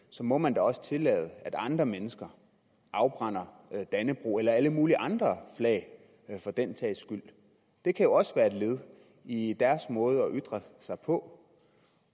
så må man da også tillade at andre mennesker afbrænder dannebrog eller alle mulige andre flag for den sags skyld det kan jo også være et led i deres måde at ytre sig på